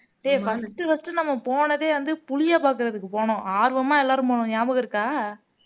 டேய் first first உ நம்ம போனதே வந்து புலியை பாக்குறதுக்கு போனோம் ஆர்வமா எல்லாரும் போனோம் ஞாபகம் இருக்கா